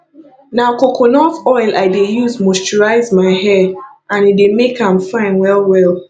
na coconut oil i dey use moisturize my hair and e dey make am fine wellwell